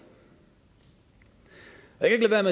jeg kan